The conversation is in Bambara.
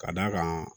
Ka d'a kan